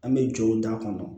An bɛ jɔw da kɔnɔ